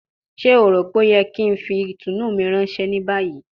Ṣe o ro pe o yẹ ki n fi itunu mi ranṣẹ ni bayi?